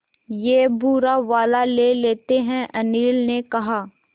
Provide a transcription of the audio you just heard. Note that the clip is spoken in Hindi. ये भूरा वाला ले लेते हैं अनिल ने कहा